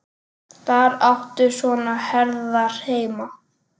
Þar áttu svona herðar heima.